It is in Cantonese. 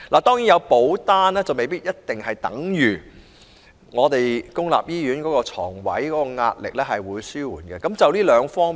當然，有保單未必等於公營醫院床位的壓力會得以紓緩。